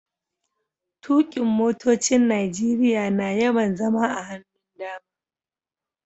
Tukin' motocin Nijeriya na yawan zama a hannun dama.